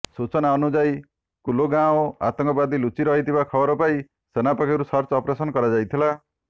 ସୂଚନା ଅନୁଯାୟୀ କୁଲଗାଓଁ ଆତଙ୍କବାଦୀ ଲୁଚି ରହିଥିବା ଖବର ପାଇ ସେନା ପକ୍ଷରୁ ସର୍ଚ୍ଚ ଅପରେସନ କରାଯାଇଥିଲା